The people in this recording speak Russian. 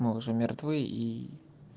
мол уже мертвы и